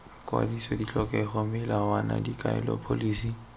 kwadiso ditlhokego melawana dikaelo pholisi